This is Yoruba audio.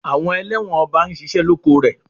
Àwọn elẹ́wọ̀n ọba ń ṣiṣẹ́ lóko rẹ̀.